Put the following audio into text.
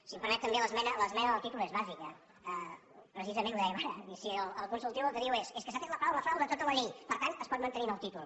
si m’ho permet també l’esmena del títol és bàsica precisament ho dèiem ara és a dir el consultiu el que diu és és que s’ha tret la paraula frau de tota la llei per tant es pot mantenir en el títol